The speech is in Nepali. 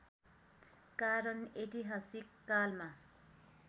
कारण ऐतिहासिक कालमा